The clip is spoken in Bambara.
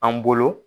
An bolo